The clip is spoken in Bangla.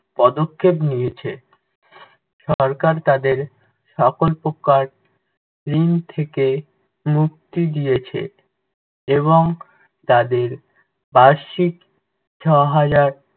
পদক্ষেপ নিয়েছে। সরকার তাদের সকল প্রকার ঋণ থেকে মুক্তি দিয়েছে এবং তাদের বার্ষিক ছ'হাজার